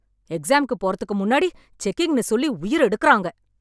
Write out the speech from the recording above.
எக்ஸாம்க்கு போறதுக்கு முன்னாடி செக்கிங்னு சொல்லி உயிர எடுக்குறாங்க